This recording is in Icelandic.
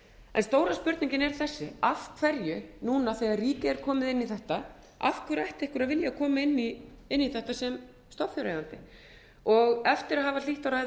en stóra spurningin er þessi af hverju núna þegar ríkið er komið inn í þetta af hverju ætti einhver að vilja koma inn í þetta sem stofnfjáreigandi og eftir að hafa hlýtt á ræðu